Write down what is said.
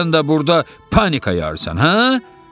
Sən də burda panika yarırsan, hə?